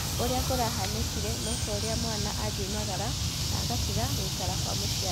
ũrĩ a kũrahanĩ kire no ta ũrĩ a mwana agĩ maraga na agatiga gũikara kwa mũciari.